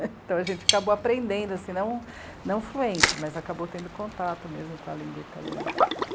Então a gente acabou aprendendo assim, não, não fluente, mas acabou tendo contato mesmo com a língua italiana.